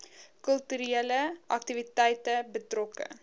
kulturele aktiwiteite betrokke